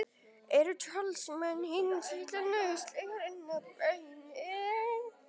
eru talsmenn hins illa nauðsynlega illir inn að beini